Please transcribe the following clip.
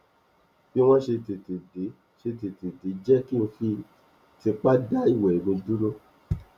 bí wọn ṣe tètè dé ṣe tètè dé jẹ kí n fi tipá dá ìwẹ mi dúró